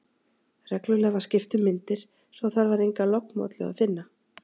Reglulega var skipt um myndir, svo að þar var enga lognmollu að finna.